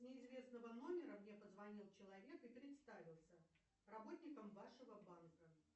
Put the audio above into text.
с неизвестного номера мне позвонил человек и представился работником вашего банка